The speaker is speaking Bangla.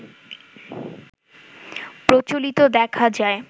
প্রচলিত দেখা যায়